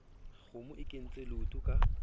kgomo e kentse leoto ka